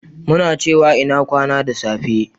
muna cewa "ina kwana" da safe